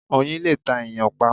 Oyin lè ta èyàn pa